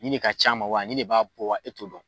Nin de ka ca ma wa, nin de b'a bɔ wa, e t'o dɔn.